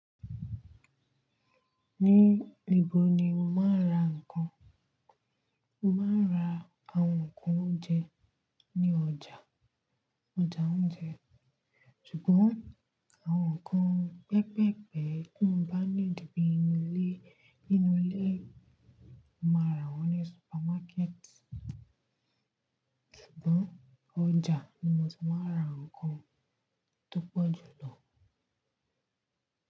Ní ibo ni mo máa ń ra ǹkan? Mo máa ń ra àwọn nǹkan oúnjẹ ní ọjà, ọjà oúnjẹ. Sugbon àwọn nǹkan pẹ́pepẹ́ tí mo bá ní need ní ilé, nínú ilé, mo máa ra wọ́n ní supermarket. Sugbon ọjà ni mo ti máa ń ra ǹkan tó pọ̀ jù lọ.